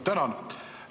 Tänan!